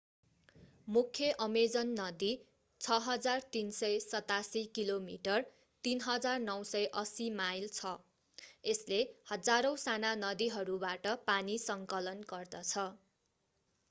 मुख्य अमेजन नदी 6,387 kilometre 3,980 mile छ। यसले हजारौं साना नदीहरूबाट पानी सङ्कलन गर्दछ।